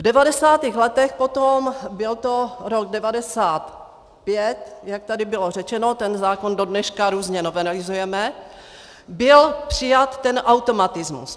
V 90. letech potom, byl to rok 1995, jak tady bylo řečeno, ten zákon do dneška různě novelizujeme, byl přijat ten automatismus.